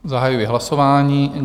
Zahajuji hlasování.